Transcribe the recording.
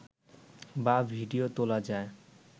বা ভিডিও তোলা যায়